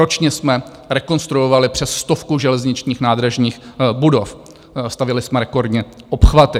Ročně jsme rekonstruovali přes stovku železničních nádražních budov, stavěli jsme rekordně obchvaty.